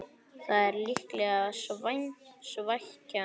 Það er líklega svækjan